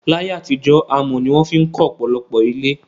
Láyé àtijó, amò ni won fi kó òpòlopò ilé